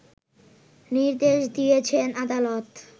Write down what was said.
নির্দেশ দিয়েছেন আদালত